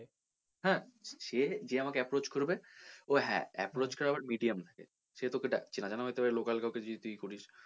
হ্যাঁ, সে যে আমাকে approach করবে ও হ্যাঁ approach করার আবার medium থাকে সে তোকে ডাকছে এবার তুই local কাউকে দিয়ে করিস,